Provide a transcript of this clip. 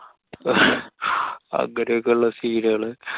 അങ്ങനെക്കള്ള scene കള്.